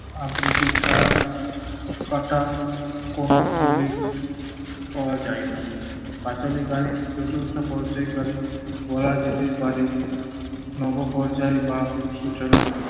আবৃত্তি ছাড়া কাটা কোন উল্লেখ পাওয়া যায় না। পাঁচালী গানের চতুর্থ পর্যায় কালে বলা যেতে পারে নবপর্যায় বা সূচনা